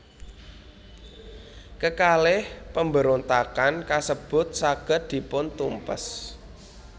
Kekalih pemberontakan kasebut saged dipuntumpes